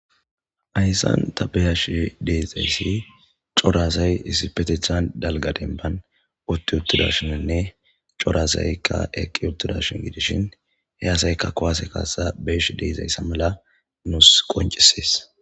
Hyssan ta beyashi deezayssi corazay hissipetethan dalga denban utti uttudashininne corasaykka eqqi uttuda shin gidishin he asaykka kowase kaasa beesh deezayssa mala nuus qoncisees